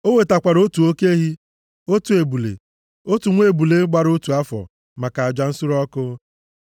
O wetakwara otu oke ehi, otu ebule, otu nwa ebule gbara otu afọ maka aja nsure ọkụ.